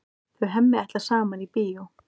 Þau Hemmi ætla saman í bíó.